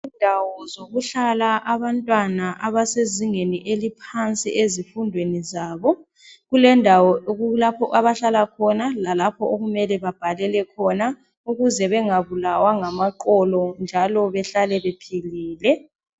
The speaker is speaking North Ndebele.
Indawo zokuhlala abantwana abasezingeni eliphansi ezifundweni zabo. Kulendawo lapho abahlala khona, lalapho okumele babhalele khona ukuze bengabulawa ngamaqolo njalo bahlale bephilile.